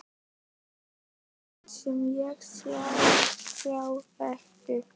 Ég læt sem ég sjái þá ekki.